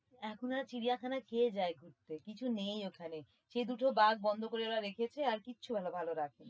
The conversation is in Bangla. এখন আর চিড়িয়াখানায় কে যায় ঘুরতে কিছু নেই ওখানে সে দুটো বাঘ বন্ধ করে ওরা রেখেছে আর কিচ্ছু ভালো রাখেনি।